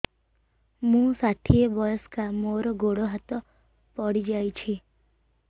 ମୁଁ ଷାଠିଏ ବୟସ୍କା ମୋର ଗୋଡ ହାତ ପଡିଯାଇଛି